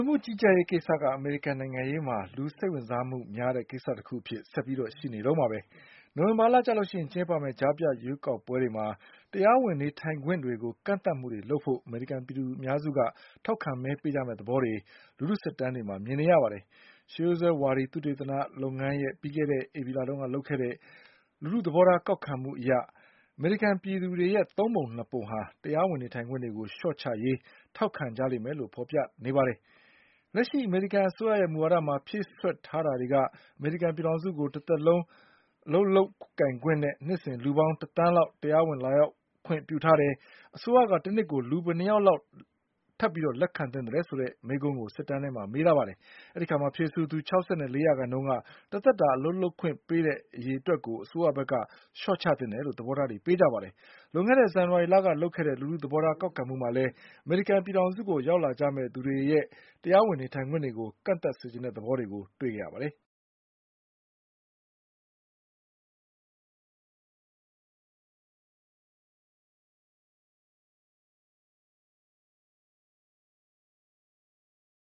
မှုကြီးကြပ်ရေးကိစ္စက အမေရိကန်နိုင်ငံရေးမှာ လူစိတ်ဝင်စားမှုများတဲ့ကိစ္စတခုအဖြစ်ဆက်ပြီးရှိနေတုန်းပါပဲ။ နိုဝင်ဘာလကျရင်ကျင်းပမယ့် ကြားဖြတ်ရွေးကောက်ပွဲတွေမှာ တရားဝင်နေထိုင်ခွင့်တွေကို ကန့်သတ်မှုတွေလုပ်ဖို့ အမေရိကန်ပြည်သူအများစုက ထောက်ခံမဲပေးကြမယ့်သဘောတွေ လူထုစစ်တမ်းတွေမှာ မြင်နေရပါတယ်။ ရှေးရိုးစွဲဝါဒီသုတေသနလုပ်ငန်းရဲ့ ပြီးခဲ့တဲ့ဧပြီလတုန်းကလုပ်ခဲ့တဲ့ လူထုသဘောထားကောက်ခံမှု အရ အမေရိ ကန်ပြည်သူတွေရဲ့ သုံးပုံနှစ်ပုံဟာ တရားဝင်နေထိုင်ခွင့်တွေကို လျှော့ချရေး ထောက်ခံကြလိမ့်မယ်လို့ဖေါ်ပြထားပါတယ်။ လက်ရှိအမေရိကန်အစိုးရရဲ့မူဝါဒမှာ ဖြည့်စွက်ထားတာတွေက အမေရိကန်ပြည်ထောင်စုကို တသက်လုံးအလုပ်လုပ် ကိုင်ခွင့်နဲ့ နှစ်စဉ်လူပေါင်း တသန်းလောက်တရားဝင်လာရောက်ခွင့်ပြုထားတယ်။ အစိုးရက တနှစ်ကို လူဘယ်နှစ်ယောက် ထပ်ပြီးလက်ခံသင့်သလဲဆိုတဲ့မေးခွန်းကို စစ်တမ်းမှာမေးတဲ့အခါ ဖြေဆိုသူ၆၄ရာခိုင်နှုန်းက တသက်တာအလုပ်လုပ်ခွင့် ပေးတဲ့အရေအတွက်ကို အစိုးရကလျှော့ချသင့်တယ်လို့သဘောထားပေးကြပါတယ်။ လွန်ခဲ့တဲ့ဇန်နဝါရီလကလုပ်ခဲ့တဲ့ လူထုသဘောထားကောက်ခံမှုမှာလည်း အမေရိကန်ကိုရောက်လာကြမယ့်သူတွေရဲ့တရားဝင်နေထိုင်ခွင့်တွေကို ကန့် သတ်စေချင်တဲ့သဘောတွေတွေ့ရပါတယ်။